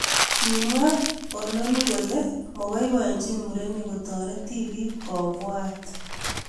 Kimwa oloni kole mababainchin murenik kotariti tipik ko bwaat